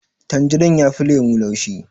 Tanjarin yafi lemo laushi